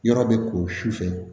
Yɔrɔ bɛ ko sufɛ